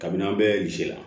Kabini an bɛɛ ze la